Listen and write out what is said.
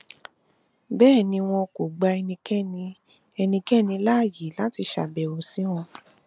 bẹẹ ni wọn kò gba ẹnikẹni ẹnikẹni láàyè láti ṣàbẹwò sí wọn